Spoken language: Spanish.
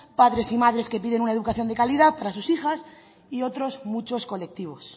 padres y madres que piden una educación de calidad para sus hijas y otros muchos colectivos